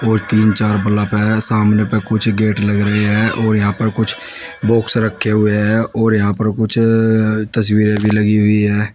और तीन चार बल्ब है सामने पे कुछ गेट लग रहे हैं और यहां पर कुछ बॉक्स रखे हुए हैं और यहां पर कुछ तस्वीरें भी लगी हुई है।